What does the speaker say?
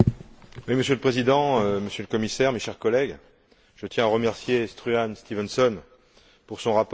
Monsieur le Président, Monsieur le Commissaire, chers collègues, je tiens à remercier Struan Stevenson pour son rapport.